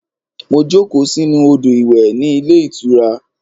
Mo jókòó sínú odo-iwe ní ilé ìtura.